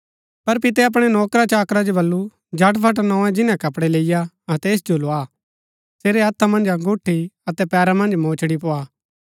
पर पितै अपणै नौकरा चाकरा जो बल्लू झटफट नोए जिन्‍नै कपड़ै लैईआ अतै ऐस जो लोआ सेरै हथा मन्ज अंगुठी अतै पैरा मन्ज मोचड़ी पोआ